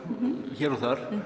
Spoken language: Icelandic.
hér og þar